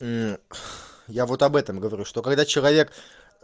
эк я вот об этом говорю что когда человек